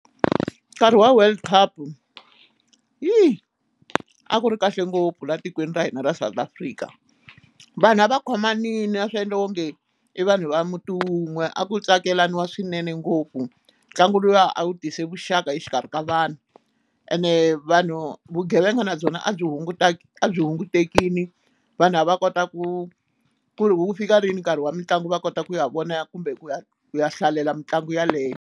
Nkarhi wa world cup a ku ri kahle ngopfu laha tikweni ra hina ra South Africa vanhu a va khomanile a swi endla onge i vanhu va muti wun'we a ku tsakelaniwa swinene ngopfu ntlangu lowuya a wu tise vuxaka exikarhi ka vanhu ene vanhu vugevenga na byona a byi hungutekini vanhu lava kota ku ku ri ku ku fika rini nkarhi wa mitlangu va kota ku ya vona kumbe ku ya ku ya hlalela mitlangu yaleyo.